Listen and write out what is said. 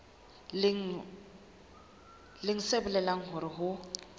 leng se bolelang hore ho